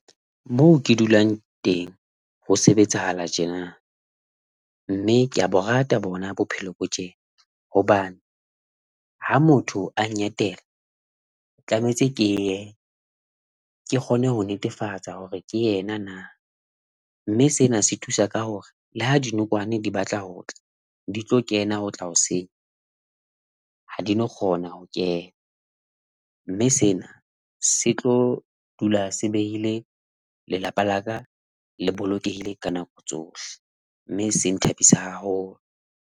Moo ke dulang teng, ho sebetsahala tjena, mme ke a bo rate bona bophelo bo tjena, hobane ha motho a nketela, tlametse ke ye ke kgone ho netefatsa hore ke yena na, mme sena se thusa ka hore le ha di nokwane di batla ho tla di tlo kena ho tla ho senya ha di no kgona ho kena. Mme sena se tlo dula se beile lelapa laka le bolokehile ka nako tsohle mme se nthabisang haholo.